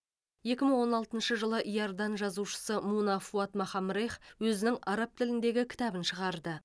екі мың он алтыншы жылы иордан жазушысы муна фуад махамрех өзінің араб тіліндегі кітабын шығарды